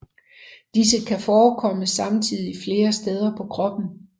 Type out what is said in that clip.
Disse kan forkomme samtidigt flere steder på kroppen